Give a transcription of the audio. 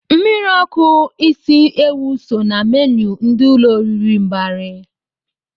Mmiri ọkụ isi ewụ so na menu ndị ụlọ oriri Mbari.